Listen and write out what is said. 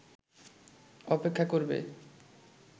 অপেক্ষা করবে